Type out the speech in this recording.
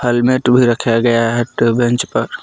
Helmet भी रखा गया है पर।